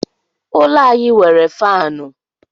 Ụlọ anyị nwere faanụ.